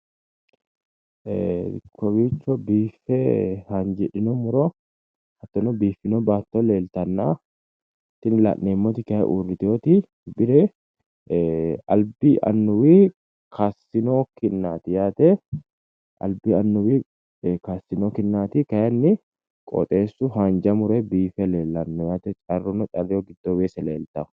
Kowiicho biiffe haanjidhino murona baatto leeltanna tini kayinni la'neemmoti uurritinoti bire albi annuwi kaassino kinnaati yaate kayiinni qoxeessuno haanja muronni biife leellano carru no carreho giddoonni weese leeltanno.